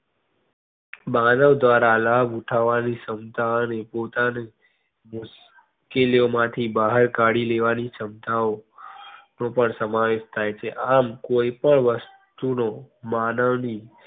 માનવદ્વારા લાભ ઉઠાવાની ક્ષમતા ને પોતાની મુશ્કેલી ઓ માંથી બહાર કાઢી લેવાની ક્ષમતા ઓ નો પણ સમાવેશ થઇ છે. આમ એક પણ વસ્તુ નો માનવ ની